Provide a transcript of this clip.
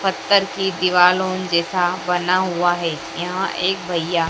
पत्थर की दीवालो जैसा बना हुआ है यहां एक भैया--